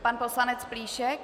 Pan poslanec Plíšek.